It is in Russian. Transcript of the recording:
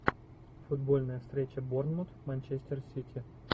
футбольная встреча бормут манчестер сити